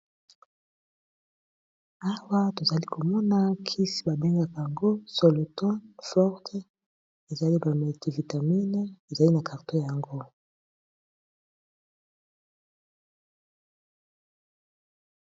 Awa tozali komona kisi babengaka yango solotone forte ezali ba multi vitamine ezali na carton yango.